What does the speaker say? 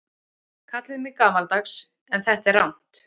Kallið mig gamaldags en þetta er rangt.